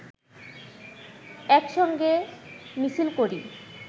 একসঙ্গে মিছিল করি